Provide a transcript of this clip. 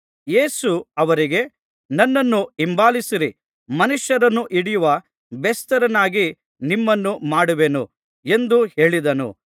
ಯೇಸು ಅವರಿಗೆ ನನ್ನನ್ನು ಹಿಂಬಾಲಿಸಿರಿ ಮನುಷ್ಯರನ್ನು ಹಿಡಿಯುವ ಬೆಸ್ತರನ್ನಾಗಿ ನಿಮ್ಮನ್ನು ಮಾಡುವೆನು ಎಂದು ಹೇಳಿದನು